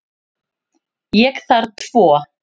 Ég þarf tvo.